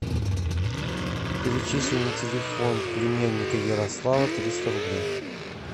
перечисли на телефон племянника ярослава триста рублей